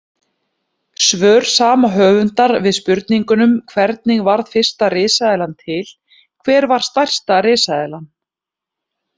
Svör sama höfundar við spurningunum Hvernig varð fyrsta risaeðlan til?, Hver var stærsta risaeðlan?